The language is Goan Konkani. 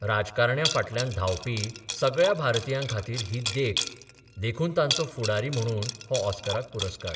राजकारण्यां फाटल्यान धांवपी सगळ्या भारतीयां खातीर ही देख देखून तांचो फुडारी म्हणून हो ऑस्कराक पुरस्कार.